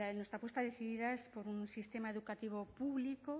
nuestra apuesta decidida es por un sistema educativo público